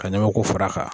Ka ɲamaku fara a kan